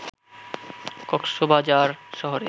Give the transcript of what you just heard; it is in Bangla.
কক্সবাজার শহরে